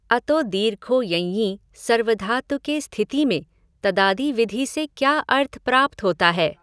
अतो दीर्घो यञि सार्वधातुके स्थिति में तदादिविधि से क्या अर्थ प्राप्त होता है।